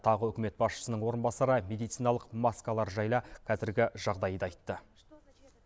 тағы үкімет басшысының орынбасары медициналық маскалар жайлы қазіргі жағдайды айтты